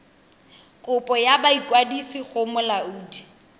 kopo ya boikwadiso go molaodi